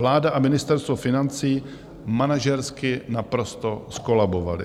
Vláda a Ministerstvo financí manažersky naprosto zkolabovaly.